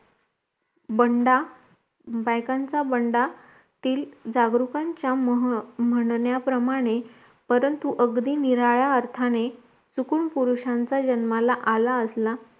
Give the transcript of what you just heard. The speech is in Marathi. बंडा बायकांच्या बंडातील जागृकांच्या मह म्हणण्याप्रमाणे परंतु अगदी निराळ्या अर्थाने चुकून पुरुषाच्या जन्माला आला असला